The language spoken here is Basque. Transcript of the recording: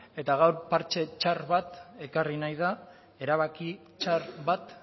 eta gaur partxe txar bat ekarri nahi da erabaki txar bat